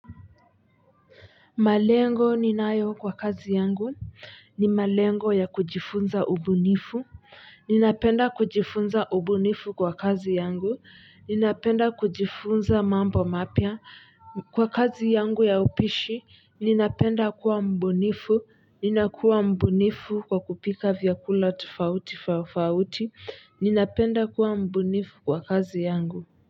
Malengo ninayo kwa kazi yangu ni malengo ya kujifunza ubunifu ninapenda kujifunza ubunifu kwa kazi yangu ninapenda kujifunza mambo mapya kwa kazi yangu ya upishi, ninapenda kuwa mbunifu, ninakuwa mbunifu kwa kupika vyakula tofauti tofauti, ninapenda kuwa mbunifu kwa kazi yangu.